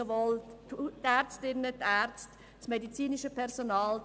Dies betrifft sowohl die Ärztinnen und Ärzte als auch das übrige medizinische Personal.